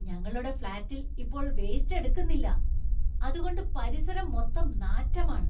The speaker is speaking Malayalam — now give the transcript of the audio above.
ഞങ്ങളുടെ ഫ്‌ളാറ്റില്‍ ഇപ്പോള്‍ വേസ്റ്റ് എടുക്കുന്നില്ല, അതുകൊണ്ട് പരിസരം മൊത്തം നാറ്റമാണ്.